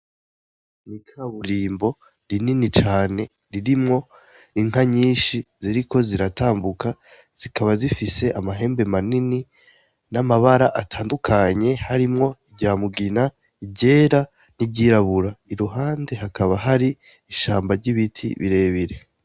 Mwikaburimbo rinini cane, ririmwo inka nyinshi ziriko ziratambuka, zikaba zifise amahembe manini, namabara atandukanye harimwo iryamugina, iryera, niryirabura. Iruhande hakaba hari ishamba ryibiti birebire.